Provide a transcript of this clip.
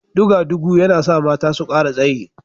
Duga-dugu yana sa mata su kara tsayi